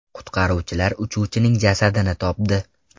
Qutqaruvchilar uchuvchining jasadini topdi.